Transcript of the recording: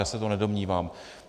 Já se to nedomnívám.